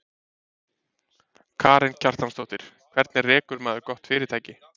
Karen Kjartansdóttir: Hvernig rekur maður gott fyrirtæki?